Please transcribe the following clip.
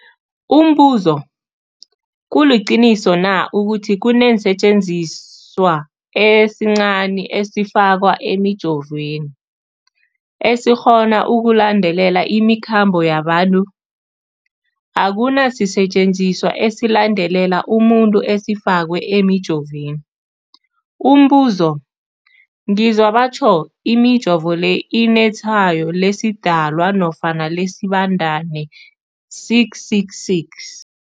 Umbuzo, kuliqiniso na ukuthi kunesisetjenziswa esincazana esifakwa emijovweni, esikghona ukulandelela imikhambo yabantu? Akuna sisetjenziswa esilandelela umuntu esifakwe emijoveni. Umbuzo, ngizwa batjho imijovo le inetshayo lesiDalwa nofana lesiBandana 666.